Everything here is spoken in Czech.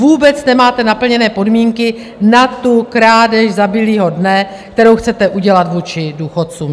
Vůbec nemáte naplněné podmínky na tu krádež za bílého dne, kterou chcete udělat vůči důchodcům.